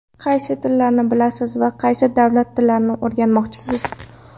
Qaysi tillarni bilasiz va yana qaysi davlat tillarini o‘rganmoqchisiz?